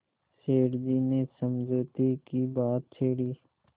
सेठ जी ने समझौते की बात छेड़ी